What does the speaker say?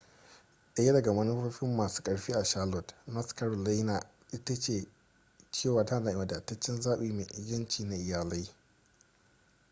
daya daga manufofin masun karfi a charlotte north carolina ita ce cewa tana da wadataccen zaɓi mai inganci na iyalai